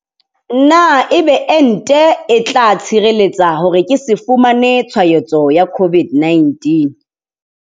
Na ebe ente e tla ntshireletsa hore ke se fumane tshwaetso ya COVID-19?